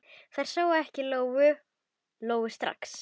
Þær sáu ekki Lóu-Lóu strax.